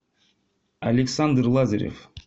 александр лазарев